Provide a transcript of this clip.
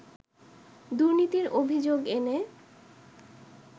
দুর্নীতির অভিযোগ এনে